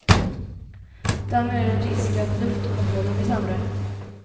Därmed är det risk att luftkontrollen blir sämre.